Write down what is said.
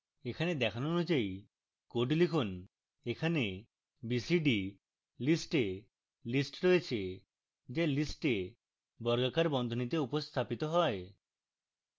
এখানে দেখানো অনুযায়ী code লিখুন: এখানে b c d list a list রয়েছে যা list a বর্গাকার বন্ধনীতে উপস্থাপিত হয়